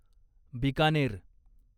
Bikaner